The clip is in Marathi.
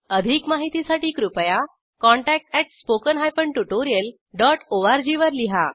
अधिक माहितीसाठी कृपया contact at spoken hyphen tutorial dot ORG वर लिहा